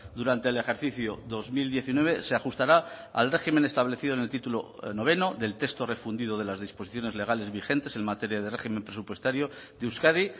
durante el ejercicio dos mil diecinueve se ajustará al régimen establecido en el título noveno del texto refundido de las disposiciones legales vigentes en materia de régimen presupuestario de euskadi